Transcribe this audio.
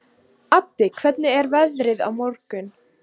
Addi, hvernig er veðrið á morgun?